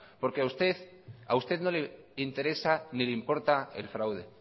porque a usted no le interesa ni le importa el fraude